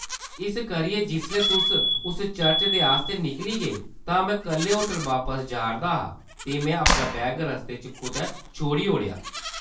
इस करियै, जिसलै तुस उस चर्च दे आस्तै निकली गे, तां में कल्ले होटल बापस जा’रदा हा, ते में अपना बैग रस्ते च कुतै छोड़ ओड़ेआ।